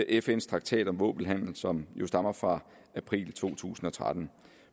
fns traktat om våbenhandel som jo stammer fra april to tusind og tretten